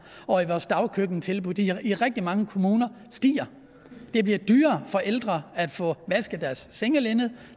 og i vores dagkøkkentilbud i i rigtig mange kommuner stiger det bliver dyrere for de ældre at få vasket deres sengelinned